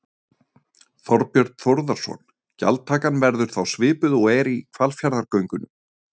Þorbjörn Þórðarson: Gjaldtakan verður þá svipuð og er í Hvalfjarðargöngum?